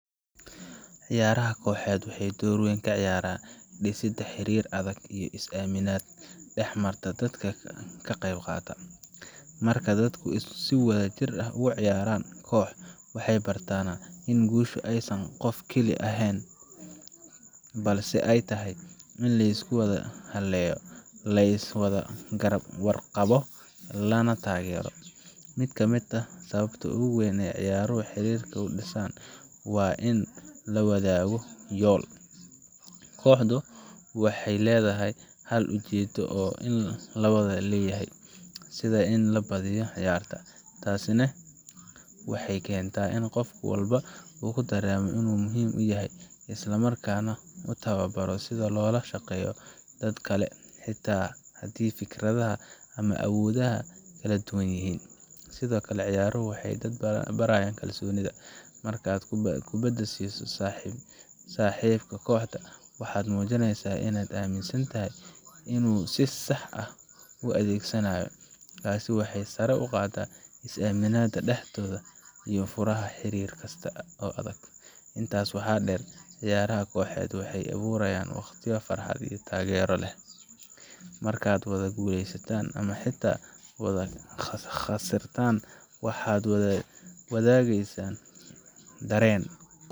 Ciyaaraha kooxeed waxay door weyn ka ciyaaraan dhisidda xiriir adag iyo is-aaminid dhexmarta dadka ka qaybqaata. Marka dadku si wadajir ah ugu ciyaarayaan koox, waxay bartaan in guusha aysan qof keli ahi keeni karin, balse ay tahay in la isku halleeyo, la iska warqabo, lana taageero. Mid ka mid ah sababta ugu weyn ee ciyaaruhu xiriirka u dhisaan waa in la wadaago yool kooxdu waxay leedahay hal ujeedo oo la wada leeyahay, sida in la badiyo ciyaarta. Taasina waxay keentaa in qof walba uu dareemo in uu muhiim yahay, isla markaana uu tababarto sida loola shaqeeyo dadka kale, xitaa haddii fikradaha ama awoodaha ay kala duwan yihiin. Sidoo kale, ciyaaruhu waxay dadka barayaan kalsoonida markaad kubadda siiso saaxiibkaa kooxda, waxaad muujinaysaa inaad aaminsan tahay inuu si sax ah u adeegsanayo. Taas waxay sare u qaaddaa is aaminada dhexdooda oo ah furaha xiriir kasta oo adag. Intaas waxaa sii dheer, ciyaaraha kooxeed waxay abuuraan waqtiyo farxad iyo taageero leh. Markaad wada guuleysataan ama xitaa wada khasirtaan, waxaad wada la wadaagaysaan dareen.